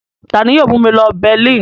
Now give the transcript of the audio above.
Ta ni yóò mú mi lọ Berlin?